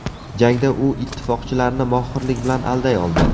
Jangda u ittifoqchilarni mohirlik bilan alday oldi.